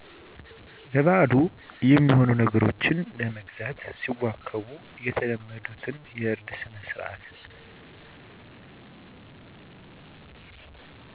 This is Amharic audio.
ለበአሉ የሚሆኑ ነገሮችን ለመግዛት ሲዋከቡ የተለመዱት የእርድ ስነስርዓት